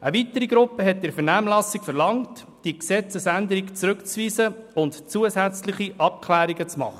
Eine weitere Gruppe verlangte in der Vernehmlassung, die Gesetzesänderung zurückzuweisen und zusätzliche Abklärungen vorzunehmen.